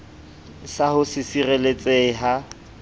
sa ho se sireletsehe ha